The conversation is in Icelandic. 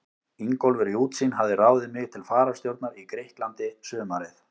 Ingólfur í Útsýn hafði ráðið mig til fararstjórnar í Grikklandi sumarið